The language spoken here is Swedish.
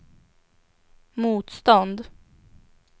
motstånd